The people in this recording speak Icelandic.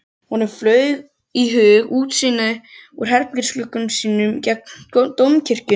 Honum flaug í hug útsýnið úr herbergisglugga sínum gegnt Dómkirkjunni.